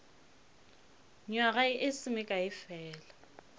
nywaga e se mekae fela